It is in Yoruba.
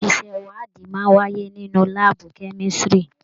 Iṣẹ ìwádìí máa n wáyé nínú láàbù kemisiri.